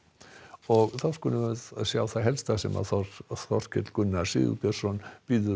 og þá skulum við sjá það helsta sem Þorkell Gunnar Sigurbjörnsson verður